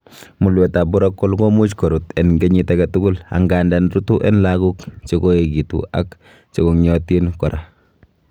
Mulwetab Urachal komuch korut en kenyit agetugul, angandan rutu en logok chekoekitu ak chekong'iotin obo kora.